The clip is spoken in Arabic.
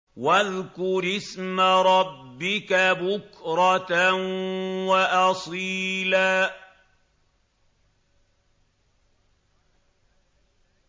وَاذْكُرِ اسْمَ رَبِّكَ بُكْرَةً وَأَصِيلًا